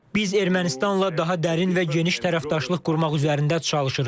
Biz Ermənistanla daha dərin və geniş tərəfdaşlıq qurmaq üzərində çalışırıq.